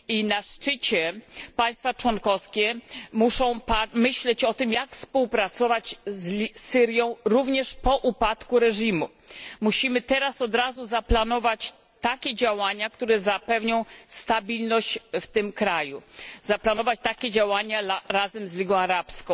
Na szczycie państwa członkowskie muszą myśleć o tym, jak współpracować z Syrią również po upadku reżimu. Musimy teraz od razu zaplanować takie działania, które zapewnią stabilność w tym kraju, zaplanować takie działania razem z Ligą Arabską.